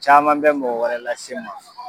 Caman bɛ mɔgɔ wɛrɛ lase n ma